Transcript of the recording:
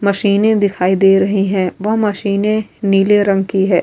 مشینے دکھائی دے رہی ہے۔ وو مشینے نیلے رنگ کی ہے۔